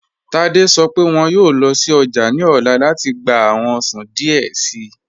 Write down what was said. Tádé sọ̀ pẹ wọn yọọ lọ sí ọjà ni ọla láti gbà awọn ọṣàn díẹ̀ sìí